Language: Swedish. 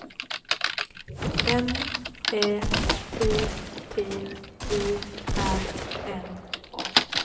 N Ä T T E R N A